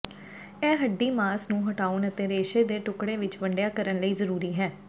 ਇਹ ਹੱਡੀ ਮਾਸ ਨੂੰ ਹਟਾਉਣ ਅਤੇ ਰੇਸ਼ੇ ਦੇ ਟੁਕੜੇ ਵਿੱਚ ਵੰਡਿਆ ਕਰਨ ਲਈ ਜ਼ਰੂਰੀ ਹੈ